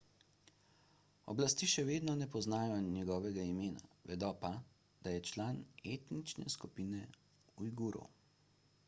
oblasti še vedno ne poznajo njegovega imena vedo pa da je član etnične skupine ujgurov